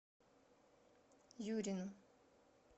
юрину